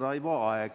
Raivo Aeg.